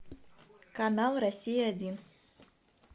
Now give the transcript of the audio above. канал россия один